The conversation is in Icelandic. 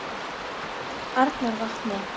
Arnarvatni